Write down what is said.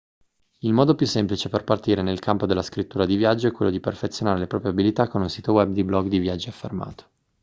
il modo più semplice per partire nel campo della scrittura di viaggio è quello di perfezionare le proprie abilità con un sito web di blog di viaggi affermato